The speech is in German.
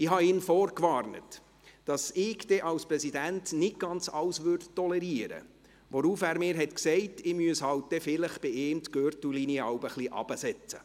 Ich habe ihn vorgewarnt, dass ich als Präsident dann nicht ganz alles tolerieren würde, worauf er mir sagte, ich müsse dann halt vielleicht bei ihm die Gürtellinie jeweils ein wenig heruntersetzen.